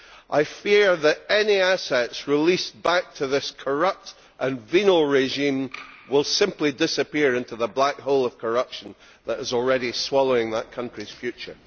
I fear that any assets released back to this corrupt and venal regime will simply disappear into the black hole of corruption that is already swallowing that country's future.